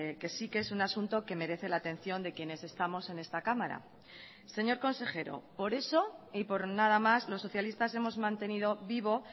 que sí que es un asunto que merece la atención de quienes estamos en esta cámara señor consejero por eso y por nada más los socialistas hemos mantenido vivo